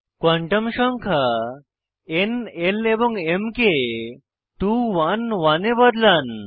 quantum সংখ্যা ন l এবং m কে 2 1 1 এ বদলান